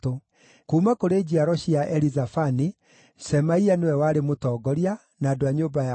kuuma kũrĩ njiaro cia Elizafani, Shemaia nĩwe warĩ mũtongoria, na andũ a nyũmba yao 200;